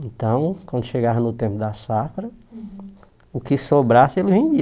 Então, quando chegava no tempo da safra, o que sobrasse, ele vendia.